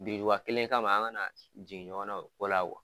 Biriduba kelen kama an ŋana jigin ɲɔgɔn na o ko la